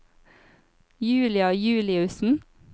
Julia Juliussen